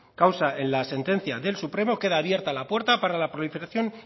causa en la sentencia del supremo queda abierta la puerta para la proliferación